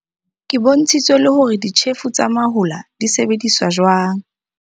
Ke bontshitswe le hore ditjhefo tsa mahola di sebediswa jwang.